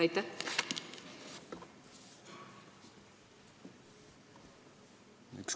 Aitäh!